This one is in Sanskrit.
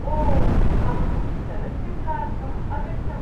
ओ, अहं चलच्चित्रार्थम् अगच्छम्।